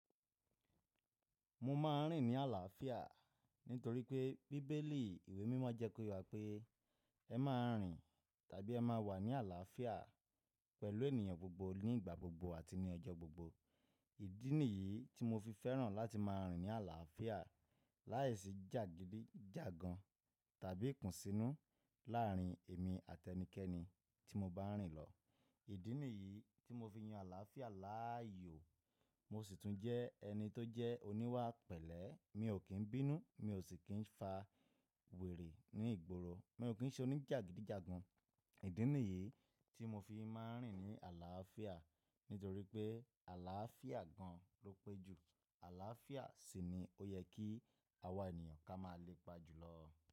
Mo ma n rìn ní àlàáfíà nítorí pé bíbélì ìwé mímọ́ jẹ́ kó yà pé ẹ máa rìn tàbí ẹ máa wà ní àlàáfíà pẹ̀lú ènìyàn gbogbo ní ìgbà gbogbo àti ní ọjọ́ gbogbo. Ìdínì yìí tí mo fi fẹ́ràn láti máa rìn ní àlàáfíà láìsí jàgídíjàgan tàbí ikùnsínú láàárín èmi àti ẹnikẹ́ni tí mo bá n rìn lọ. Ìdínì yìí tí mo fi yan àlàáfíà láàyò, mo sì tún jẹ́ ẹni tó jẹ́ oníwà pẹ̀lẹ́, mi ò kín bínú, mi ò sì kín fa wèrè ní ìgboro, mi ò kín jẹ́ oníjàgídíjàgan. Ìdínì yìí tí mo fi máa n rìn ní àlàáfíà nítorí pé àlàáfíà gan ló pé jù. Àlàáfíà sì ni ó yẹ kí àwa ènìyàn ká má a lepa jùlọ.